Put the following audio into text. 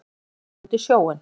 Svo gekk hann út í sjóinn.